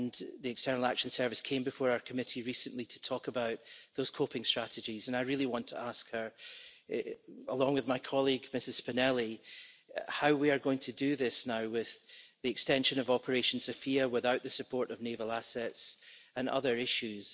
The External Action Service came before our committee recently to talk about those coping strategies, and I really want to ask her along with my colleague, Ms Spinelli how we are going to do this now with the extension of Operation Sophia without the support of naval assets and other issues.